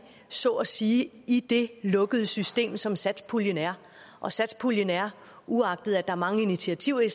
så at sige i det lukkede system som satspuljen er og satspuljen er uagtet at er mange initiativer i